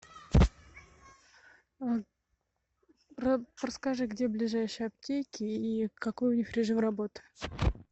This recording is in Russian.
расскажи где ближайшие аптеки и какой у них режим работы